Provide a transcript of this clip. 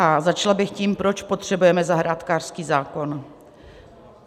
A začala bych tím, proč potřebujeme zahrádkářský zákon.